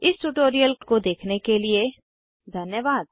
इस ट्यूटोरियल को देखने के लिए धन्यवाद